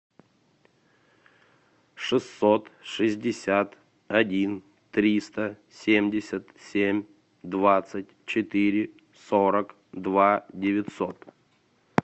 шестьсот шестьдесят один триста семьдесят семь двадцать четыре сорок два девятьсот